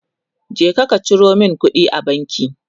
je ka Ciro min kuɗi a banki!